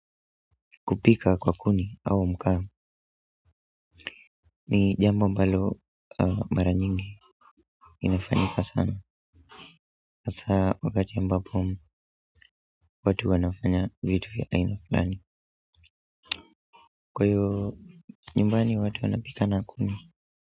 Kupika kwa kuni au makaa ni jambo ambalo mara nyingi inafanyika sana hasa wakati ambapo watu wanafanya vitu vya aina fulani kwa hiyo nyumbani watu wanaoika na kuni.